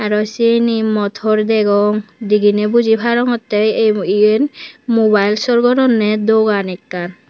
arow siyeni motor degong digini buzi parongotte iyen mobile sor goronne dogan ekkan.